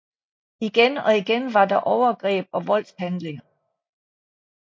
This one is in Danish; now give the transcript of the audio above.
Igen og igen var der overgreb og voldshandlinger